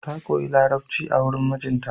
Ta koyi Larabci a wurin mijinta.